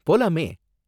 போலாமே!